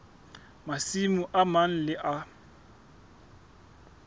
masimo a mang le a